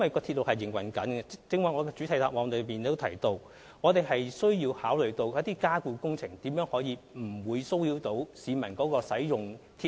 正如我剛才在主體答覆提到，由於鐵路在營運中，我們需要考慮加固工程不會騷擾市民使用鐵路。